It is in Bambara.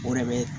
O de bɛ